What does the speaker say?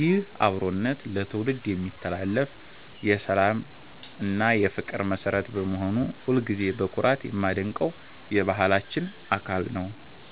ይህ አብሮነት ለትውልድ የሚተላለፍ የሰላም እና የፍቅር መሠረት በመሆኑ ሁልጊዜም በኩራት የማደንቀው የባህላችን አካል ነው።